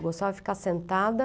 Eu gostava de ficar sentada.